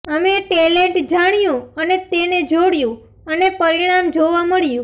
અમે ટેલેન્ટ જાણ્યું અને તેને જોડ્યું અને પરિણામ જોવા મળ્યું